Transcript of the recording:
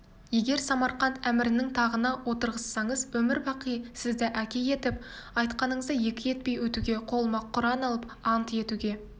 егер самарқант әмірінің тағына отырғызсаңыз өмір-бақи сізді әке етіп айтқаныңызды екі етпей өтуге қолыма құран алып ант етуге